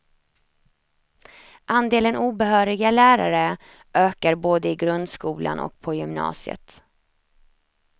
Andelen obehöriga lärare ökar både i grundskolan och på gymnasiet.